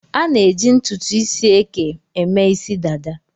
A na-eji ntutu isi eke eme isi dada